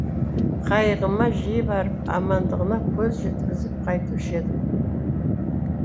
қайығыма жиі барып амандығына көз жеткізіп қайтушы едім